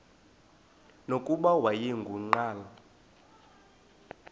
nokuba wayengu nqal